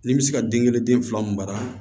Ni n bɛ se ka den kelen den fila min mara